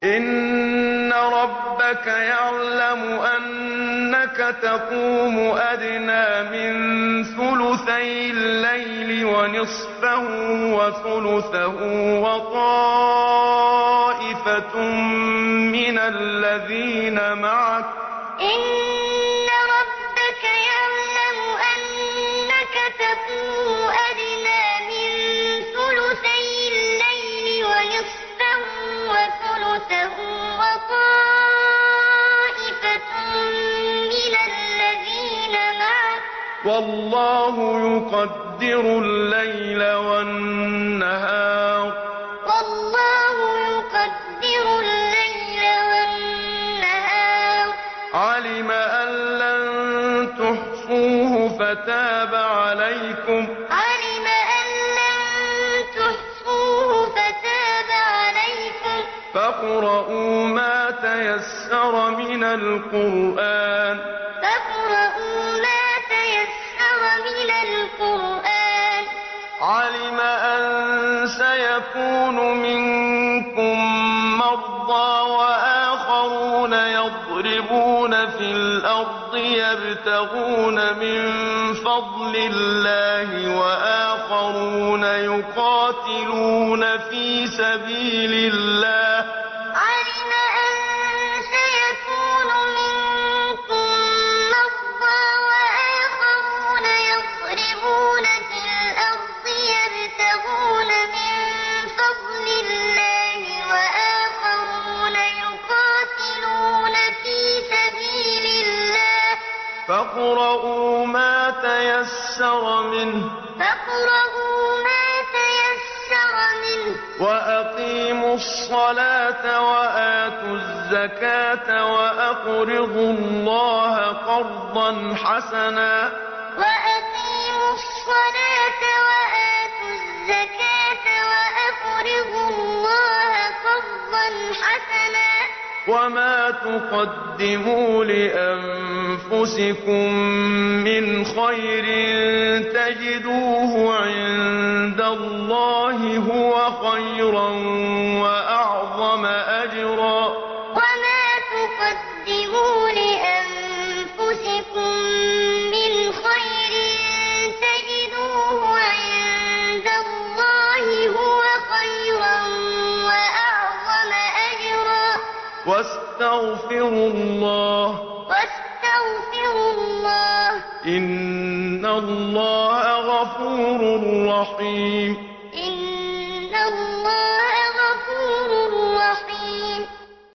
۞ إِنَّ رَبَّكَ يَعْلَمُ أَنَّكَ تَقُومُ أَدْنَىٰ مِن ثُلُثَيِ اللَّيْلِ وَنِصْفَهُ وَثُلُثَهُ وَطَائِفَةٌ مِّنَ الَّذِينَ مَعَكَ ۚ وَاللَّهُ يُقَدِّرُ اللَّيْلَ وَالنَّهَارَ ۚ عَلِمَ أَن لَّن تُحْصُوهُ فَتَابَ عَلَيْكُمْ ۖ فَاقْرَءُوا مَا تَيَسَّرَ مِنَ الْقُرْآنِ ۚ عَلِمَ أَن سَيَكُونُ مِنكُم مَّرْضَىٰ ۙ وَآخَرُونَ يَضْرِبُونَ فِي الْأَرْضِ يَبْتَغُونَ مِن فَضْلِ اللَّهِ ۙ وَآخَرُونَ يُقَاتِلُونَ فِي سَبِيلِ اللَّهِ ۖ فَاقْرَءُوا مَا تَيَسَّرَ مِنْهُ ۚ وَأَقِيمُوا الصَّلَاةَ وَآتُوا الزَّكَاةَ وَأَقْرِضُوا اللَّهَ قَرْضًا حَسَنًا ۚ وَمَا تُقَدِّمُوا لِأَنفُسِكُم مِّنْ خَيْرٍ تَجِدُوهُ عِندَ اللَّهِ هُوَ خَيْرًا وَأَعْظَمَ أَجْرًا ۚ وَاسْتَغْفِرُوا اللَّهَ ۖ إِنَّ اللَّهَ غَفُورٌ رَّحِيمٌ ۞ إِنَّ رَبَّكَ يَعْلَمُ أَنَّكَ تَقُومُ أَدْنَىٰ مِن ثُلُثَيِ اللَّيْلِ وَنِصْفَهُ وَثُلُثَهُ وَطَائِفَةٌ مِّنَ الَّذِينَ مَعَكَ ۚ وَاللَّهُ يُقَدِّرُ اللَّيْلَ وَالنَّهَارَ ۚ عَلِمَ أَن لَّن تُحْصُوهُ فَتَابَ عَلَيْكُمْ ۖ فَاقْرَءُوا مَا تَيَسَّرَ مِنَ الْقُرْآنِ ۚ عَلِمَ أَن سَيَكُونُ مِنكُم مَّرْضَىٰ ۙ وَآخَرُونَ يَضْرِبُونَ فِي الْأَرْضِ يَبْتَغُونَ مِن فَضْلِ اللَّهِ ۙ وَآخَرُونَ يُقَاتِلُونَ فِي سَبِيلِ اللَّهِ ۖ فَاقْرَءُوا مَا تَيَسَّرَ مِنْهُ ۚ وَأَقِيمُوا الصَّلَاةَ وَآتُوا الزَّكَاةَ وَأَقْرِضُوا اللَّهَ قَرْضًا حَسَنًا ۚ وَمَا تُقَدِّمُوا لِأَنفُسِكُم مِّنْ خَيْرٍ تَجِدُوهُ عِندَ اللَّهِ هُوَ خَيْرًا وَأَعْظَمَ أَجْرًا ۚ وَاسْتَغْفِرُوا اللَّهَ ۖ إِنَّ اللَّهَ غَفُورٌ رَّحِيمٌ